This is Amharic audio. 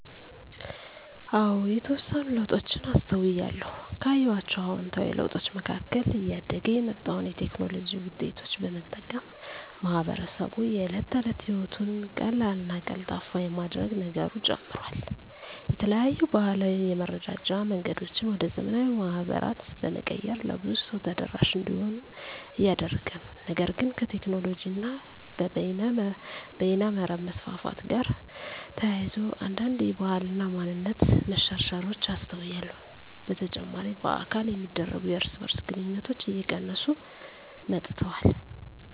አዎ የተወሰኑ ለውጦችን አስተውያለሁ። ካየኋቸው አዉንታዊ ለውጦች መካከል እያደገ የመጣውን የቴክኖሎጂ ዉጤቶች በመጠቀም ማህበረሰቡ የእለት ተለት ህይወቱን ቀላልና ቀልጣፋ የማድረግ ነገሩ ጨምሯል። የተለያዩ ባህላዊ የመረዳጃ መንገዶችን ወደ ዘመናዊ ማህበራት በመቀየር ለብዙ ሰው ተደራሽ እንዲሆኑ እያደረገ ነው። ነገር ግን ከቴክኖሎጂ እና በይነመረብ መስፋፋት ጋር ተያይዞ አንዳንድ የባህል እና ማንነት መሸርሸሮች አስተውያለሁ። በተጨማሪ በአካል የሚደረጉ የእርስ በእርስ ግንኙነቶች እየቀነሱ መጥተዋል።